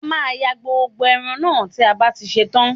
A máa yan gbogbo ẹran náà tí a bá ti ṣe tán